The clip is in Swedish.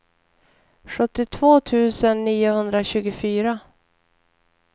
sjuttiotvå tusen niohundratjugofyra